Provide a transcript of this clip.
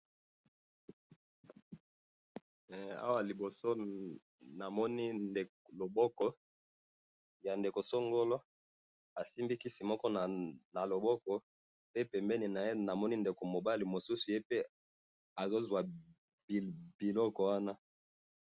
Eh! Awa liboso namoni ndekloboko yandeko songolo asimbi kisi moko naloboko, pe pembeni naye namoni ndeko mobali mosusu yepe azozwa biloko wana.